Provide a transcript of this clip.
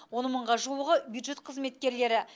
он мыңға жуығы бюджет қызметкерлері